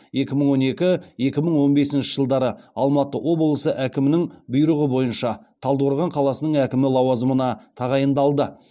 екі мың он екі екі мың он бесінші жылдары алматы облысы әкімінің бұйрығы бойынша талдықорған қаласының әкімі лауазымына тағайындалды